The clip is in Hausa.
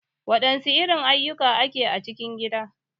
Wadansu irin ayukan ake a cikin gida?.